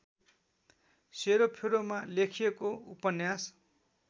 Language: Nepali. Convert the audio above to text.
सेरोफेरोमा लेखिएको उपन्यास